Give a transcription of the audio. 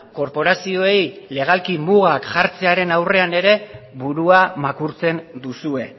korporazioei legalki mugak jartzearen aurrean ere burua makurtzen duzue